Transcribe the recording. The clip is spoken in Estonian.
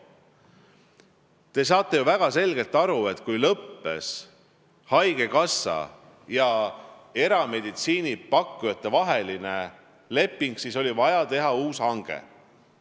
Te saate ju väga selgelt aru, et kui lõppes haigekassa ja erameditsiiniteenuse pakkujate vaheline leping, siis oli vaja teha uus hange.